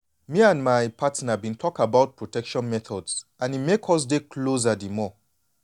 me and my partner been talk about protection methods and e make us dey closer the more